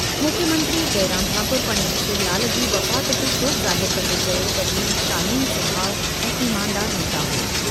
मुख्यमंत्री जयराम ठाकुर पंडित शिवलाल जी वफ़ात ते शोक ज़ाहिर कंदे चयो त हू शालीन सुभाउ ऐं ईमानदार नेता हो।